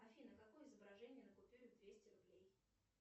афина какое изображение на купюре двести рублей